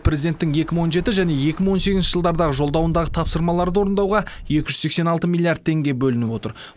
президенттің екі мың он жеті және екі мың он сегізінші жылдардағы жолдауындағы тапсырмаларды орындауға екі жүз сексен алты миллиард теңге бөлініп отыр